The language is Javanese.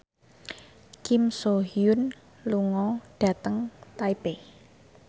Kim So Hyun lunga dhateng Taipei